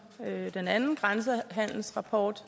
den anden grænsehandelsrapport